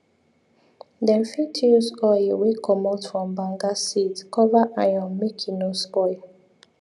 them fit use oil wey commot from banga seeds cover iron make e no spoil